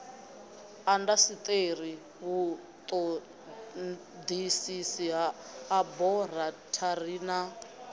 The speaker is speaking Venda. indasiteri vhutodisisi ha aborathari na